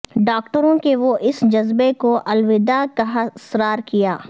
ڈاکٹروں کہ وہ اس جذبہ کو الوداع کہا اصرار کیا